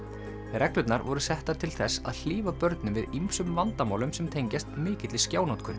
reglurnar voru settar til þess að hlífa börnum við ýmsum vandamálum sem tengjast mikilli